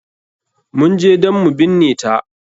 Mun je dan mu binne ta.